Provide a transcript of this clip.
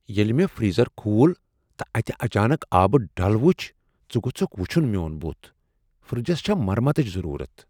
ییٚلہ مےٚ فریزر کھول تہٕ اتہِ اچانک آبہٕ ڈل وُچھِ ژٕ گوژُھكھ وُچُھن میون بُتھ ۔فریجس چھےٚ مرمتٕچ ضروٗرت۔